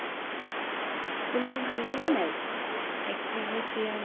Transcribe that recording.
তোমাক ভাল লাগে নাই XUV three hundred